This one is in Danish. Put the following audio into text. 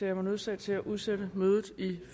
jeg mig nødsaget til at udsætte mødet i